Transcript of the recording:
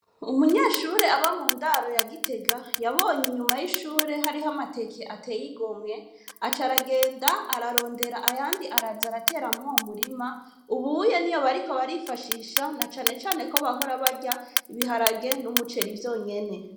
Umunyeshure aba mu ndaro yagitega yabonye inyuma y'ishure hariho amateke ateyigomwe aca aragenda ararondera ayandi araza arateramwo mu murima ubuye ni yo bariko barifashisha na canecane ko bahora barya ibiharage n'umuceri vyonyene.